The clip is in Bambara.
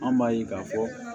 An b'a ye k'a fɔ